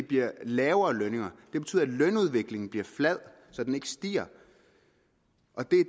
bliver lavere lønninger det betyder at lønudviklingen bliver flad så den ikke stiger